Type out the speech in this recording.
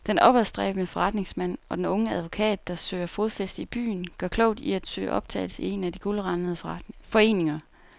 Den opadstræbende forretningsmand og den unge advokat, der søger fodfæste i byen, gør klogt i at søge optagelse i en af de guldrandede foreninger.